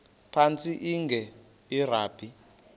phantsi enge lrabi